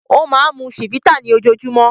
Ó máa ń mu Chivita ní ojoojúmọ́.